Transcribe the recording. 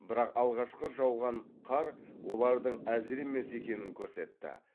бірақ алғашқы жауған қар олардың әзір емес екенін көрсетті